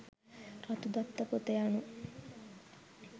රතු දත්ත පොත යනු